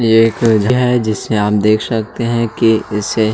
ये एक आप देख सकते है की इसे--